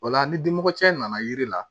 O la ni dimi cɛ nana yiri la